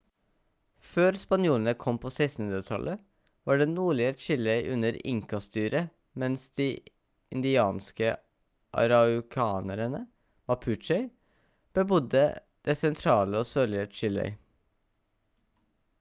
før spanjolene kom på 1600-tallet var det nordlige chile under inca-styre mens de indianske araucanerne mapuche bebodde det sentrale og sørlige chile